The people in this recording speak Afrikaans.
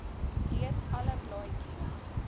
lees alle blaadjies